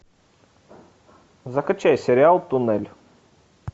закачай сериал туннель